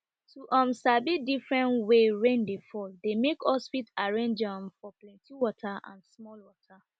to um sabi different way rain dey fall dey make us fit arrange um for plenty water and small water